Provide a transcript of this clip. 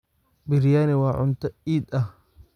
Biryani waa cunto iid ah.